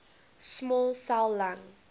small cell lung